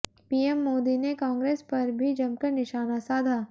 PM Modi ने कांग्रेस पर भी जमकर निशाना साधा